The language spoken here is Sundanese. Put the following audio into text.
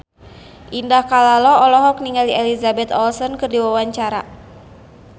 Indah Kalalo olohok ningali Elizabeth Olsen keur diwawancara